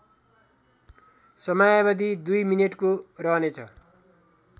समयावधि २ मिनेटको रहनेछ